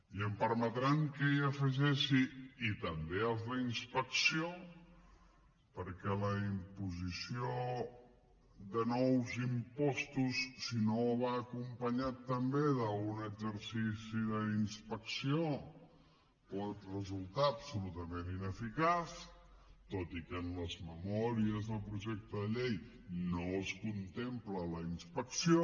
i em permetran que hi afegeixi també els d’inspecció perquè la imposició de nous impostos si no va acompanyada també d’un exercici d’inspecció pot resultar absolutament ineficaç tot i que en les memòries del projecte de llei no es contempla la inspecció